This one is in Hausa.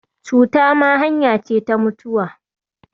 Cuta ma hanya ce ta mutuwa